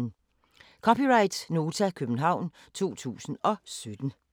(c) Nota, København 2017